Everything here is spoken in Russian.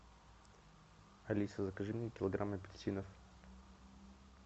алиса закажи мне килограмм апельсинов